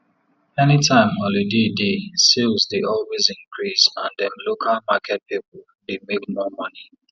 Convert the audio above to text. any time holiday dey sales dey always increase and dem local market people dey make more money